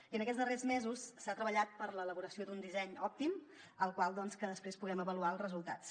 i en aquests darrers mesos s’ha treballat per l’elaboració d’un disseny òptim del qual després puguem avaluar els resultats